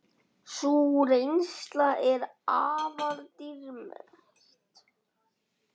Sú reynsla er afar dýrmæt.